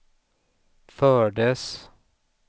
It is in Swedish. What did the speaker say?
fördes